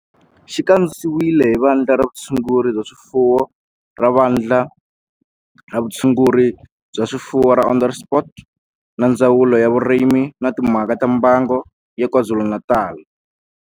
Xi kandziyisiwe hi Vandla ra Vutshunguri bya swifuwo ra Vandla ra Vutshunguri bya swifuwo ra Onderstepoort na Ndzawulo ya Vurimi na Timhaka ta Mbango ya KwaZulu-Natal